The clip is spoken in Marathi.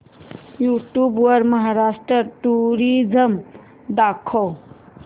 यूट्यूब वर महाराष्ट्र टुरिझम दाखव